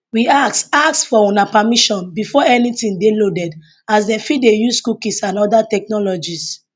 we ask ask for una permission before anytin dey loaded as dem fit dey use cookies and oda technologies